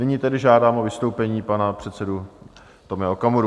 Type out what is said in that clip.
Nyní tedy žádám o vystoupení pana předsedu Tomia Okamuru.